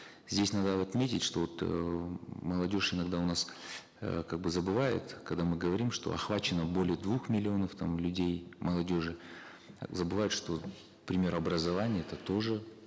здесь надо отметить что вот э м молодежь иногда у нас э как бы забывает когда мы говорим что охвачено более двух миллионов там людей молодежи забывают что к примеру образование это тоже